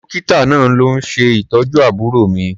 Dọ́kítà náà ló ń ṣètọ́jú àbúrò mi.